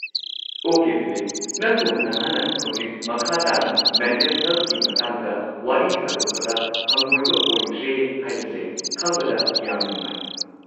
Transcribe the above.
Okay Bibek, ꯅꯪꯒꯨꯝꯕ ꯅꯍꯥꯅ ꯍꯧꯖꯤꯛ ꯃꯈꯥ ꯇꯥꯅ ꯃꯦꯟꯇꯦꯜ ꯍꯦꯜꯊꯀꯤ ꯃꯇꯥꯡꯗ ꯋꯥꯔꯤ ꯁꯥꯗꯣꯛꯄꯗ ꯍꯪꯒꯣꯏꯕ ꯑꯣꯏꯗ꯭ꯔꯦ ꯍꯥꯏꯕꯁꯦ ꯈꯪꯕꯗ ꯌꯥꯝꯅ ꯅꯨꯡꯉꯥꯏ꯫